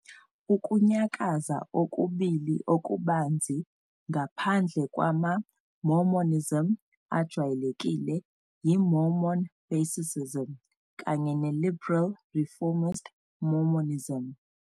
Ukunyakaza okubili okubanzi ngaphandle kwamaMormonism ajwayelekile yi- Mormon basicism, kanye ne-liberal reformist Mormonism.